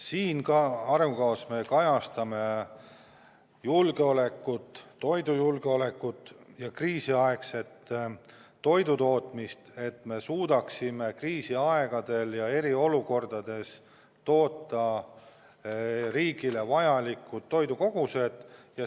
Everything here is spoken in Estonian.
Siin arengukavas me kajastame toidujulgeolekut ja kriisiaegset toidutootmist, et me suudaksime kriisiaegadel ja eriolukordades toota riigile vajalikud toidukogused.